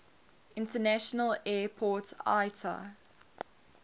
international airport iata